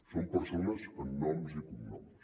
són persones amb noms i cognoms